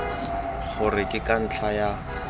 gore ke ka ntlha ya